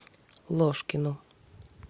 ложкину